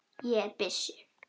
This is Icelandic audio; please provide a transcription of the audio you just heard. Ég er byssu